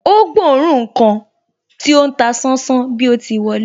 Ó gbóòórùn ǹkan tí ó ń ta sánsán bí o ti wọlé